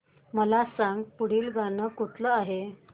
मला सांग पुढील गाणं कुठलं आहे